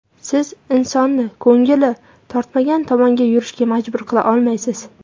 Siz insonni ko‘ngli tortmagan tomonga yurishga majbur qila olmaysiz.